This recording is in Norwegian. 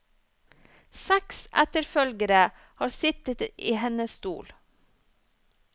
Seks etterfølgere har sittet i hennes stol.